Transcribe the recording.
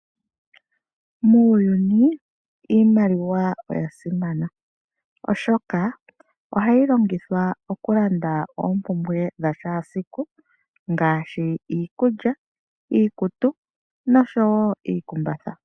Muuyuni iimaliwa oya simana oshoka ohayi longithwa okulanda oompumbwe dhakehe esiku ngaashi iikulya, iikutu noshowoo iikumbatha .